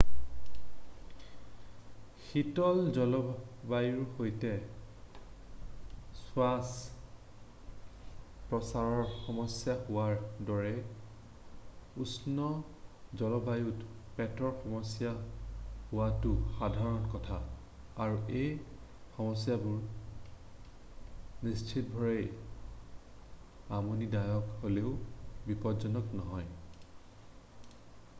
শীতল জলবায়ুৰ সৈতে শ্বাস-প্ৰশ্বাসৰ সমস্যা হোৱাৰ দৰে উষ্ণ জলবায়ুত পেটৰ সমস্যা হোৱাটো সাধাৰণ কথা আৰু এই সমস্যাবোৰ নিশ্চিতভাৱে আমনিদায়ক হ'লেও বিপজ্জনক নহয়